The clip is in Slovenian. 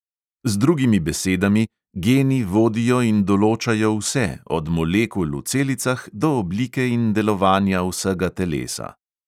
Z drugimi besedami, geni vodijo in določajo vse, od molekul v celicah do oblike in delovanja vsega telesa.